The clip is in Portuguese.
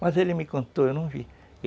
Mas ele me contou, eu não vi.